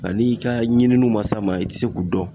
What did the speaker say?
Nga n'i ka ɲininuw ma s'a ma i te se k'o dɔn